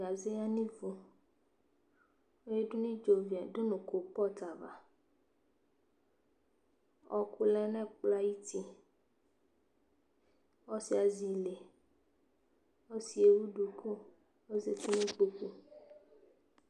Gaze ya nivʋ Eyadu nʋ idzovi du nʋ kolʋpɔtʋ ava Ɔɔkʋ lɛ nʋ ɛkplɔ yɛ ayuti Ɔsi yɛ azi ile Ɔsi yɛ ewu duku kɔzati nʋ ikpokʋ